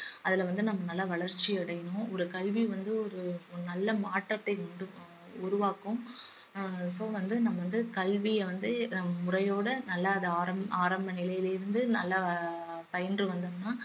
அதுல வந்து நம்ம நல்லா வளர்ச்சி அடையணும் ஒரு கல்வி வந்து ஒரு ஒரு நல்ல மாற்றத்தை உண்டு ப~ உருவாக்கும் அஹ் so வந்து நம்ம வந்து கல்விய வந்து முறையோட நல்லா அத ஆரம்~ ஆரம்ப நிலையிலிருந்து நல்லா பயின்று வந்தோம்னா